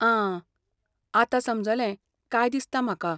आं, आतां समजलें काय दिसता म्हाका.